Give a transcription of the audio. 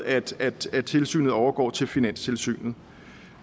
at at tilsynet overgår til finanstilsynet